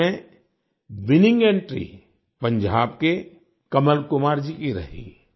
इसमें winning entry Punjab के कमल कुमार जी की रही